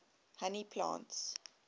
honey plants